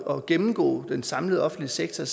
at gennemgå den samlede offentlige sektor